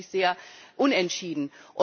Es ist ja wirklich sehr unentschieden.